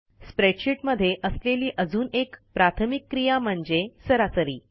स्प्रेडशीटमध्ये असलेली अजून एक प्राथमिक क्रिया म्हणजे सरासरी